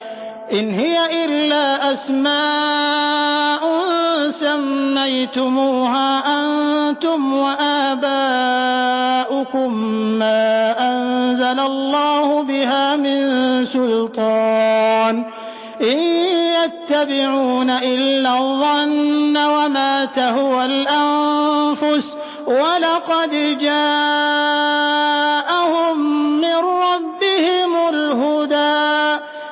إِنْ هِيَ إِلَّا أَسْمَاءٌ سَمَّيْتُمُوهَا أَنتُمْ وَآبَاؤُكُم مَّا أَنزَلَ اللَّهُ بِهَا مِن سُلْطَانٍ ۚ إِن يَتَّبِعُونَ إِلَّا الظَّنَّ وَمَا تَهْوَى الْأَنفُسُ ۖ وَلَقَدْ جَاءَهُم مِّن رَّبِّهِمُ الْهُدَىٰ